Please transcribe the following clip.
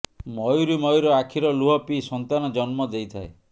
ମୟୂରୀ ମୟୂର ଆଖିର ଲୁହ ପିଇ ସନ୍ତାନ ଜନ୍ମ ଦେଇଥାଏ